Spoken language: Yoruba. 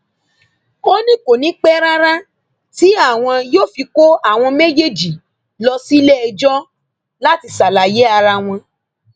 ó ní kò ní í pẹ rárá tí àwọn yóò fi kó àwọn méjèèjì lọ síléẹjọ láti ṣàlàyé ara wọn